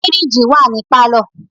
Fìríìjì wà ní pálọ̀.